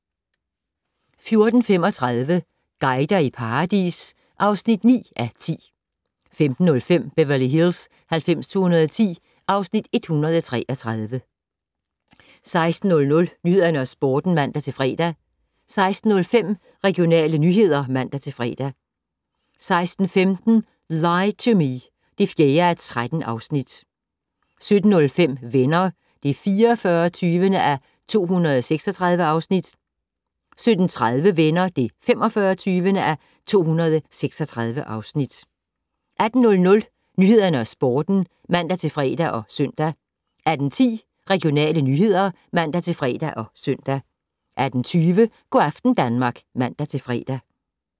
14:35: Guider i paradis (9:10) 15:05: Beverly Hills 90210 (Afs. 133) 16:00: Nyhederne og Sporten (man-fre) 16:05: Regionale nyheder (man-fre) 16:15: Lie to Me (4:13) 17:05: Venner (44:236) 17:30: Venner (45:236) 18:00: Nyhederne og Sporten (man-fre og -søn) 18:10: Regionale nyheder (man-fre og -søn) 18:20: Go' aften Danmark (man-fre)